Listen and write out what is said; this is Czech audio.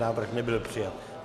Návrh nebyl přijat.